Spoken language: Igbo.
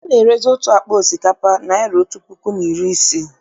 Ana-erezi otu akpa osikapa naịra otú puku na iri ise.